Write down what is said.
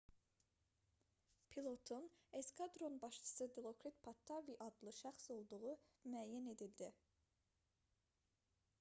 pilotun eskadron başçısı dilokrit pattavee adlı şəxs olduğu müəyyən edildi